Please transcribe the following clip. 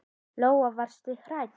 Lóa: Varstu hrædd?